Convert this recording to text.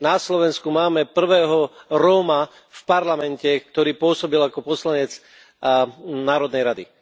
Na Slovensku máme prvého Róma v parlamente, ktorý pôsobil ako poslanec Národnej rady.